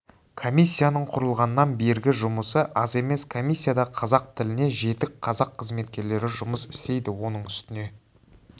комиссияның құрылғаннан бергі жұмысы аз емес комиссияда қазақ тіліне жетік қазақ қызметкерлері жұмыс істейді оның үстіне